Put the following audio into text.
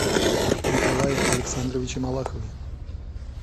николае александровиче малахове